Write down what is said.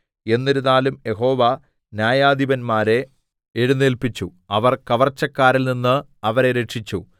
എന്നിരുന്നാലും യഹോവ ന്യായാധിപന്മാരെ എഴുന്നേല്പിച്ചു അവർ കവർച്ചക്കാരിൽ നിന്ന് അവരെ രക്ഷിച്ചു